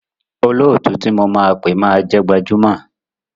Olóòtú tí mo máa pé máa jẹ́ gbajúmọ̀.